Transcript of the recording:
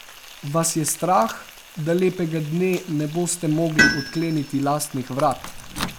Vas je strah, da lepega dne ne boste mogli odkleniti lastnih vrat?